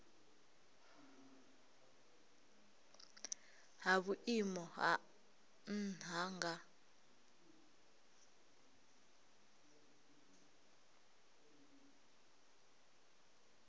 ha vhuimo ha nha nga